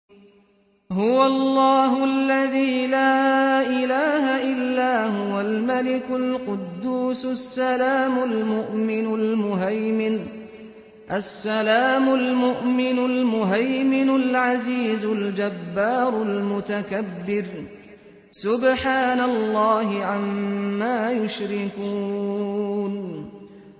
هُوَ اللَّهُ الَّذِي لَا إِلَٰهَ إِلَّا هُوَ الْمَلِكُ الْقُدُّوسُ السَّلَامُ الْمُؤْمِنُ الْمُهَيْمِنُ الْعَزِيزُ الْجَبَّارُ الْمُتَكَبِّرُ ۚ سُبْحَانَ اللَّهِ عَمَّا يُشْرِكُونَ